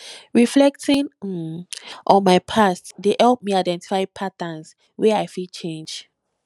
reflecting um on my past dey help me identify patterns wey i fit change